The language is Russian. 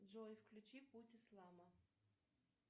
джой включи путь ислама